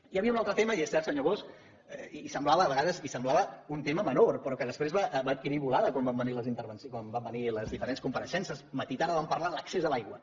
hi havia un altre tema i és cert senyor bosch i semblava a vegades i ho semblava un tema menor però que després va adquirir volada quan van venir les diferents compareixences matí i tarda vam parlar de l’accés a l’aigua